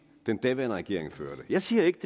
den daværende regering førte jeg siger ikke